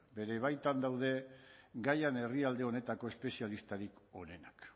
bere baitan daude gaian herrialde honetako espezialistarik onenak